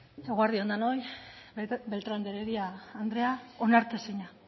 eguerdi on denoi beltrán de heredia andrea onartezina